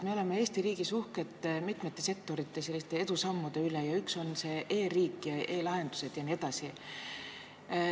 Me oleme Eesti riigis uhked mitmete sektorite edusammude üle, nagu e-riik, e-lahendused jne.